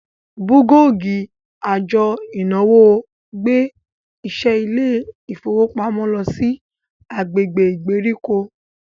bulọọgi àjò ìnáwó gbé àwọn iṣẹ ilé ifowopamọ ló sì agbègbè ìgbèríko.